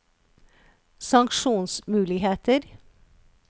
sanksjonsmuligheter